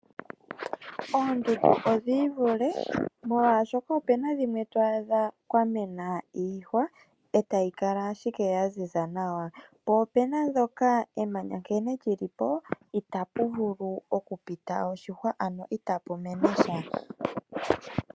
Oondundu odhi ivule, opuna dhimwe to dhi adha kwamena iihwa eta yi kala ashike yaziza nawa, po opena ndhoka emanyana nkene lyilipo, ita puvulu okupita oshihwa, ano ita pumene sha.